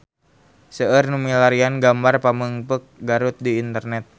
Seueur nu milarian gambar Pamengpeuk Garut di internet